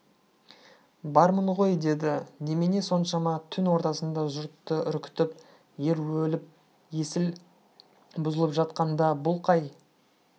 бармын ғой деді немене соншама түн ортасында жұртты үркітіп ер өліп есіл бұзылып жатқанда бұл қай